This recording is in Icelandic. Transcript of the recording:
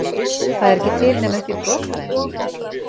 Það er ekki til nema upp í brot af þeim?